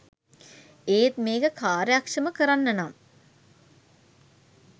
ඒත් මේක කාර්යක්ෂම කරන්නනම්